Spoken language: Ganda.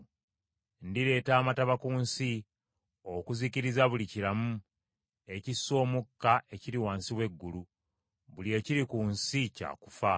Ndireeta amataba ku nsi, okuzikiriza buli kiramu, ekissa omukka, ekiri wansi w’eggulu; buli ekiri ku nsi kya kufa.